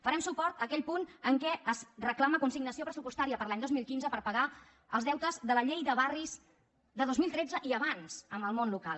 farem suport a aquell punt en què es reclama consignació pressupostària per a l’any dos mil quinze per pagar els deutes de la llei de barris de dos mil tretze i abans al món local